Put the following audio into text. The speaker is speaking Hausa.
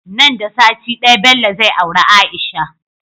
Nan da sati daya Bello zai aure aisha